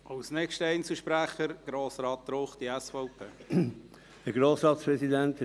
Ich möchte mich nur kurz zu Wort melden.